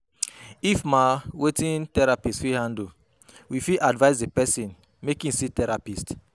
If ma wetin therapist fit handle, we fit advice di person make im see therapist